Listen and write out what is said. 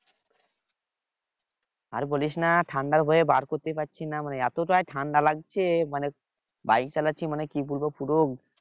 আর বলিস না ঠান্ডা হয়ে বার করতে পারছি না মানে এতটাই ঠান্ডা লাগছে যে মানে bike চালাচ্ছি মানে কি বলব পুরো